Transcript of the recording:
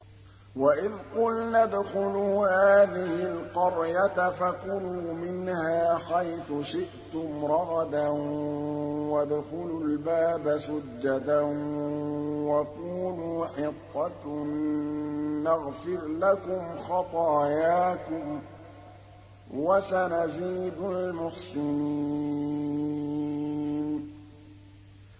وَإِذْ قُلْنَا ادْخُلُوا هَٰذِهِ الْقَرْيَةَ فَكُلُوا مِنْهَا حَيْثُ شِئْتُمْ رَغَدًا وَادْخُلُوا الْبَابَ سُجَّدًا وَقُولُوا حِطَّةٌ نَّغْفِرْ لَكُمْ خَطَايَاكُمْ ۚ وَسَنَزِيدُ الْمُحْسِنِينَ